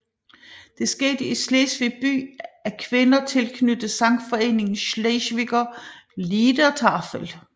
Det skete i Slesvig by af kvinder tilknyttet sangforeningen Schleswiger Liedertafel